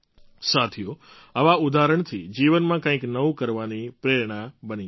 સાથીઓ આવાં ઉદાહરણ જીવનામં કંઈક નવું કરવાની પ્રેરણા બની જાય છે